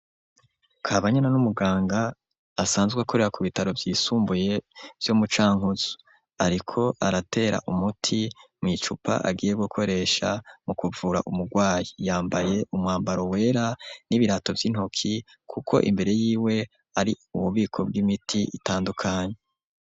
Kabanyana, ni umuganga, asanzwe akorera, ku bitaro vyisumbuye, vyo mu Cankuzo; ariko aratera umuti, mw'icupa agiye gukoresha, mu kuvura umugwayi; yambaye, umwambaro wera, n'ibirato vy'intoki, kuko imbere y'iwe, ari ububiko bw'imiti, itandukanye.